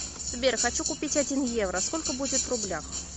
сбер хочу купить один евро сколько будет в рублях